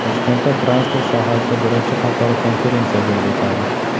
Toshkentda transport sohasida birinchi xalqaro konferensiya bo‘lib o‘tadi.